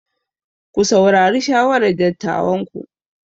Ku saurari shawarar dattawanku.